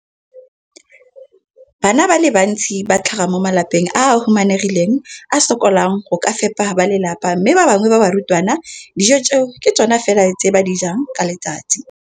Bana ba le bantsi ba tlhaga mo malapeng a a humanegileng a a sokolang go ka fepa ba lelapa mme ba bangwe ba barutwana, dijo tseo ke tsona fela tse ba di jang ka letsatsi.